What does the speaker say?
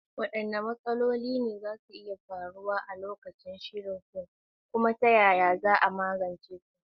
Waɗanne matsaloli ne za su iya faruwa a lokacin shirya fim, kuma ta yaya za a magance su?